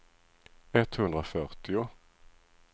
etthundrafyrtio